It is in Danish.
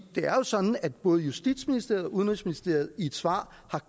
er sådan at både justitsministeriet og udenrigsministeriet i et svar